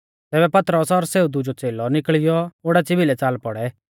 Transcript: तैबै पतरस और सेऊ दुजौ च़ेलौ निकल़ियौ ओडाच़ी भिलै च़ाल पौड़ै